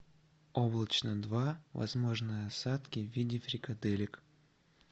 облачно два возможны осадки в виде фрикаделек